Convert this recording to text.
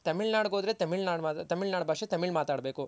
ತಮಿಳ್ನಾಡ್ ಗ್ ಹೋದ್ರೆ ತಮಿಳ್ನಾಡ್ ಭಾಷೆ ತಮಿಳ್ ಮಾತಾಡ್ ಬೇಕು